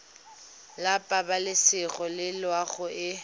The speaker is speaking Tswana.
la pabalesego le loago e